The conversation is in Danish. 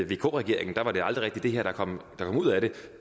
vk regeringen var det aldrig rigtig det her der kom ud af det